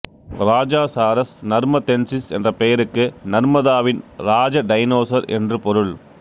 Rajasaurus narmadensis என்ற பெயருக்கு நர்மதாவின் ராஜ டைனோசர் என்று பொருள்